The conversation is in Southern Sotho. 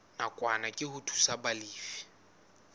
nakwana ke ho thusa balefi